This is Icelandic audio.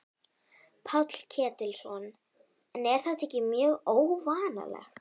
Páll Ketilsson: En er þetta ekki mjög óvanalegt?